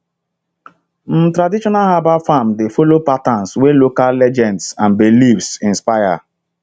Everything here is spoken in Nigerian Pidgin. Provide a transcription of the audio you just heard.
um traditional herbal farms dey follow patterns wey local legends and beliefs inspire